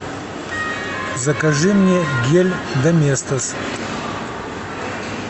закажи мне гель доместос